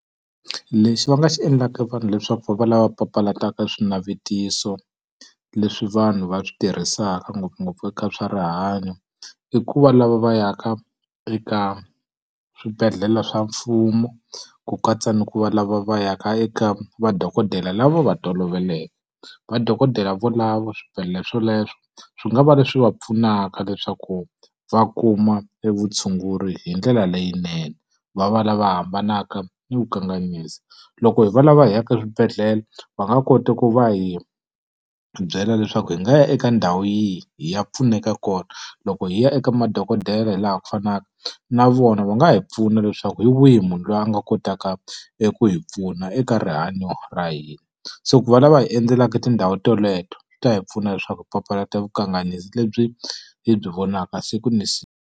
Lexi va nga xi endlaka vanhu leswaku va va lava papalataka swinavetiso leswi vanhu va swi tirhisaka ngopfungopfu eka swa rihanyo, i ku va lava va ya ka eka swibedhlele swa mfumo, ku katsa ni ku va lava va ya ka eka madokodela lava va va toloveleke. Madokodela va lavo swibedhlele swoleswo, swi nga va leswi va pfunaka leswaku va kuma e vutshunguri hi ndlela leyinene, va va lava hambanaka ni vukanganyisi. Loko hi va lava hi ya ka swibedhlele, va nga kota ku va hi byela leswaku hi nga ya eka ndhawu yihi hi ya pfuneka kona. Loko hi ya eka madokodela hi laha ku fanaka, na vona va nga hi pfuna leswaku hi wihi munhu loyi a nga kotaka eku hi pfuna eka rihanyo ra hina. So ku va lava hi endzelaka tindhawu teleto, swi ta hi pfuna leswaku hi papalata vukanganyisi lebyi hi byi vonaka siku na siku.